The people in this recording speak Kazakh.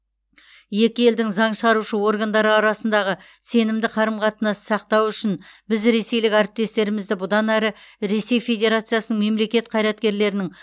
екі елдің заң шығарушы органдары арасындағы сенімді қарым қатынасты сақтау үшін біз ресейлік әріптестерімізді бұдан әрі ресей федерациясының мемлекет қайраткерлерінің